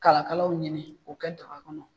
Kalakalalaw ɲini k'o kɛ daga kɔnɔ.